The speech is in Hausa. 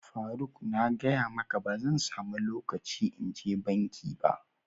faruk, na gaya maka ba zan samu locaci in je banki ba.